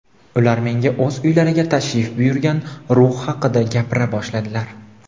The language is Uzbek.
Ular menga o‘z uylariga tashrif buyurgan ruh haqida gapira boshladilar.